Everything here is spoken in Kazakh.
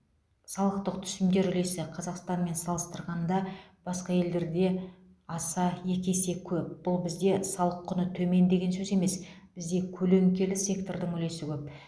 салықтық түсімдер үлесі қазақстанмен салыстырғанда басқа елдерде аса екі есе көп бұл бізде салық құны төмен деген сөз емес бізде көлеңкелі сектордың үлесі көп